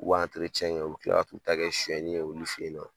U b'u , u bi kila ka t'u ta kɛ suɲɛnni ye olu fe yen nɔ.